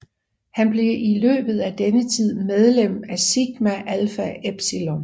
Han blev i løbet af denne tid medlem af Sigma Alpha Epsilon